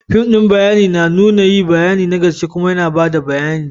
Fim din bayani na nuna yi na gaske kuma na bada bayani.